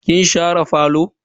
Kin share falo?